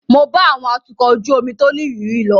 Mo bá àwọn atukọ̀ ojú omi tó nírìírí lọ.